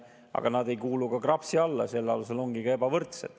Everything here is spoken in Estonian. Aga nad ei kuulu KRAPS-i alla ja selle tõttu ongi ebavõrdsed.